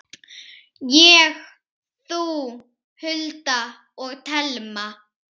Ég, þú, Hulda og Telma.